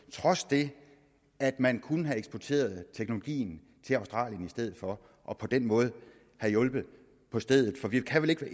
trods det at man kunne have eksporteret teknologien til australien i stedet for og på den måde have hjulpet på stedet for vi kan vel ikke være